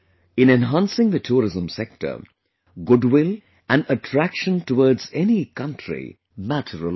In enhancing the tourism sector, goodwill and attraction towards any country matter a lot